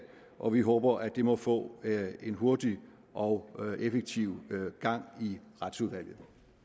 og vi håber at det må få en hurtig og effektiv gang i retsudvalget